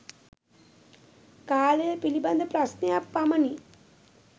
කාලය පිලිබඳ ප්‍රශ්නයක් පමණි